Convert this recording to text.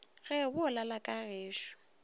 ge bo lala ka gešo